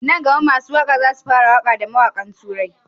Nan gama masu waƙar hausa zasu fara waƙa da mawaƙan turai